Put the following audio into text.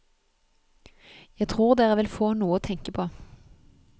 Jeg tror dere vil få noe å tenke på.